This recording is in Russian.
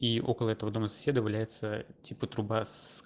и около этого дома соседа валяется типа труба с